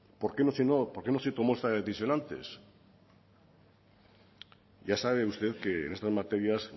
por qué no se tomó esta decisión antes ya sabe usted que en estas materias